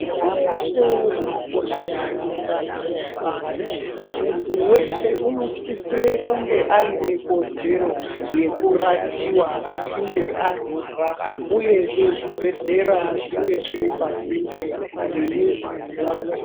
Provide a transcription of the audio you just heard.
Pashi reshe rinokoshese utano hwevantu, muntu weshe unosisire kunge aine kodzero yekurapiwa achinge arwara uyezve zvibhedhlera zvinge zviripasinde nemizi dzevantu.